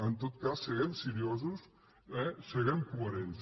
en tot cas siguem seriosos siguem coherents